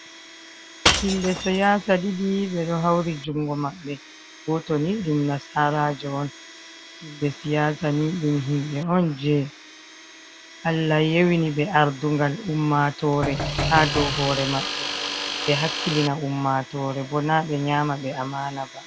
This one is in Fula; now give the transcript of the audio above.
Himɓe siyaasa ɗiɗi, ɓe ɗo hawri junngo maɓɓe, gooto ni ɗum nasaraajo on. Himɓe siyaasa ni, ɗum himɓe on jey Allah yowiniɓe aardugal ummatoore, haa dow hoore maɓɓe, ɓe hakkilina ummatoore bo, naa ɓe nyaamaɓe amaana ba.